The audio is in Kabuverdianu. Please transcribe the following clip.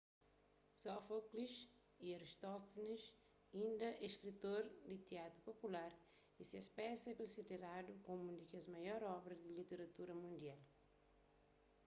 sófoklis y aristófanis inda é skritor di tiatru popular y ses pesas é konsideradu komu un di kes maior obra di literatura mundial